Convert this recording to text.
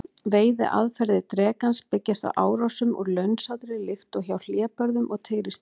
Veiðiaðferðir drekans byggjast á árásum úr launsátri líkt og hjá hlébörðum og tígrisdýrum.